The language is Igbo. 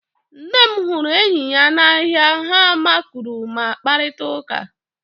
Nne m huru enyi ya n'ahịa ha makụrụ ma kparịta ụka